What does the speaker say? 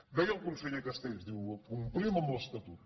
deia el conseller castells ho diu complim amb l’es·tatut